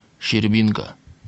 щербинка